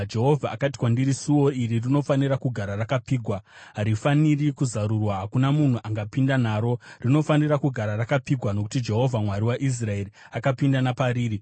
Jehovha akati kwandiri, “Suo iri rinofanira kugara rakapfigwa. Harifaniri kuzarurwa; hakuna munhu angapinda naro. Rinofanira kugara rakapfigwa nokuti Jehovha, Mwari waIsraeri, akapinda napariri: